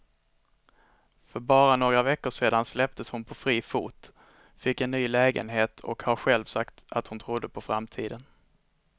För bara några veckor sedan släpptes hon på fri fot, fick en ny lägenhet och har själv sagt att hon trodde på framtiden.